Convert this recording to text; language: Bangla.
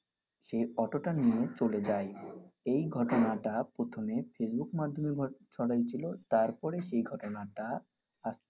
সেই অটোটা নিয়ে চলে যায়। এই ঘটনাটা প্রথমে face book মাধ্যমে ছড়ায় ছিল তারপর এই ঘটনাটা।